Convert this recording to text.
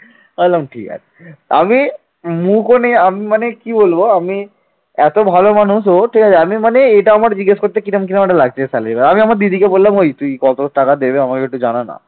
এত ভালো মানুষ ও ঠিক আছে আমি মানে এটা আমার জিজ্ঞাসা করতে কিরকম কিরকম একটা লাগছে salary আমি আমার দিদিকে বললাম ওই তুই কত টাকা দেবে আমাকে একটু জানানা